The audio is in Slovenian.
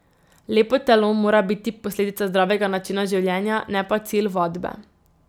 Lepo telo mora biti posledica zdravega načina življenja, ne pa cilj vadbe.